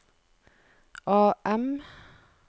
AM